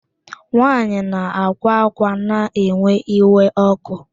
Nwaanyị na-akwa akwa na-ewe iwe ọkụ